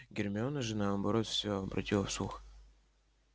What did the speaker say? гермиона же наоборот всё обратила в слух